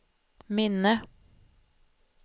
minne